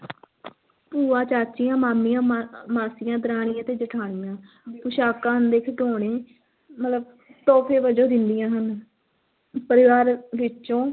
ਭੂਆਂ, ਚਾਚੀਆਂ, ਮਾਮੀਆਂ, ਮਾ~ ਮਾਸੀਆਂ, ਦਰਾਣੀਆਂ ਤੇ ਜਿਠਾਣੀਆਂ ਪੁਸ਼ਾਕਾਂ ਤੇ ਖਿਡੌਣੇ ਮਤਲਬ ਤੋਹਫ਼ੇ ਵਜੋਂ ਦਿੰਦੀਆਂ ਹਨ, ਪਰਿਵਾਰ ਵਿੱਚੋਂ